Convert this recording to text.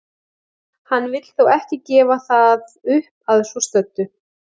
Hann vill þó ekki gefa það upp að svo stöddu.